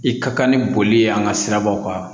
I ka kan ni boli ye an ka sirabaw kan